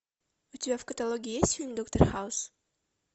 у тебя в каталоге есть фильм доктор хаус